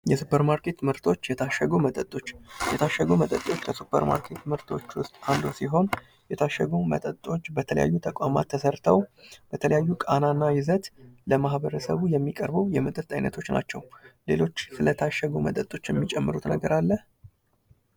የሱፐር ማርኬት ምርቶች የታሸጉ መጠጦች። የታሸጉ መጠጦች ከስፐርማርኬት ምርቶች ውስጥ አንዱ ሲሆን የታሸጉ መጠጦች በተለያዩ ተቋማት ተሰርተው፣ በተለያዩ ቃና እና ይዘት ለማህበረሰቡ የሚቀርቡ የመጠጥ አይነቶች ናቸው። ሌሎች ስለታሸጉ መጠጦች የምትጨምሩት ነገር አለ?